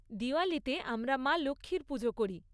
দিওয়ালীতে আমরা মা লক্ষ্মীর পুজো করি।